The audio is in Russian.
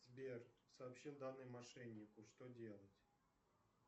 сбер сообщил данные мошеннику что делать